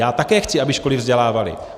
Já také chci, aby školy vzdělávaly.